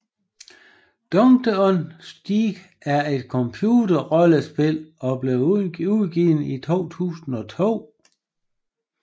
Dungeon Siege er et computerrollespil og blev udgivet i 2002